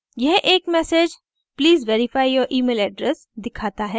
यह एक message please verify your email address दिखाता है